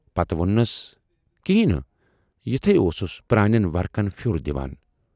پتہٕ ووننس کینہی نہٕ، یِتھے اوسُس پرانٮ۪ن ورقن پھیوٗر دِوان